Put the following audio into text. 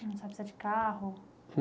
Não sabe se é de carro?